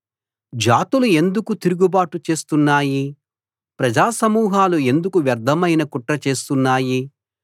జాతులు ఎందుకు తిరుగుబాటు చేస్తున్నాయి ప్రజా సమూహాలు ఎందుకు వ్యర్ధమైన కుట్ర చేస్తున్నాయి